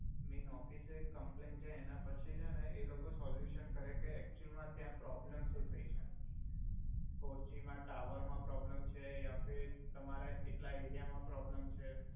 main ઓફિસે complain જાઇ એના પછી છે ને એ લોકો સોલુસન કરે કે એક્તુઅલ મા ત્યા પ્રોબલમ સુ થઇ છે ફોરજી મા ટાવર મા પ્રોબલમ છે યા ફિર તમારા એટલા એરિઆ મા પ્રોબલમ છે